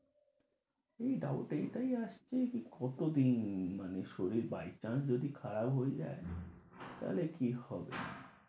কি doubt এটাই আর, এই আর কত দিন মানে শরীর by chance যদি খারাপ হয়ে যায় তাহলে কি হবে।